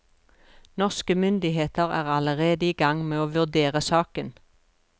Norske myndigheter er allerede i gang med å vurdere saken.